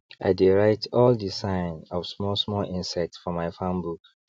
i dey write all the sign of small small insects for my farm book